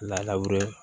Laburi